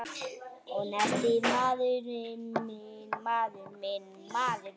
Og nestið, maður minn!